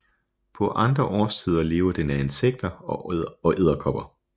På andre årstider lever den af insekter og edderkopper